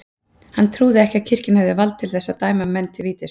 Hann trúði ekki að kirkjan hefði vald til þess að dæma menn til vítis.